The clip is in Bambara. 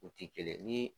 U ti kelen ye ni